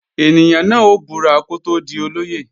Ènìyàn náà ó búra kó tó di olóyè